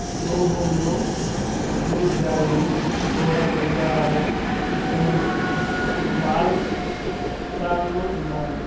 Store room లో jute బ్యాగులు గోడ గడియారాలు రెండు చ వాల్ ఫ్యాన్లు ఉన్నావి.